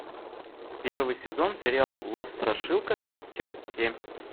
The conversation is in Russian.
первый сезон сериал лос страшилкас часть семь